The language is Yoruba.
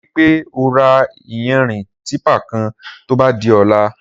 Rìpé ó rà iyànrín tìpá kán tóbà di ọ̀là